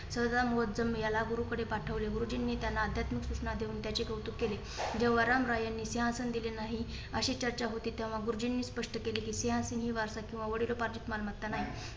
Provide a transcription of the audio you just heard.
यांला गुरुकडे पाठवले. गुरुजी नेत्यांना आध्यात्मिक सूचना देऊन त्याचे कौतुक केले. जेव्हा रामराय यांनी सिहासन दिले नाही अशी चर्चा होती. तेव्हा गुरुजींनी स्पष्ट केली. कि सिहांसन हे वारसा वडिलोपार्जित मालमत्ता नाही.